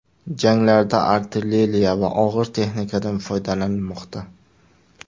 Janglarda artilleriya va og‘ir texnikadan foydalanilmoqda.